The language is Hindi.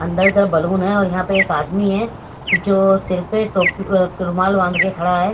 अंदर तरफ बलून हैऔर यहा पे एक आदमी है जो सिर पे टोप अ क रूमाल बांध के खड़ा है।